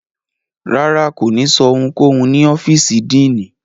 Rárá, ko ni sọ ohunkohun ni ọfiisi Diini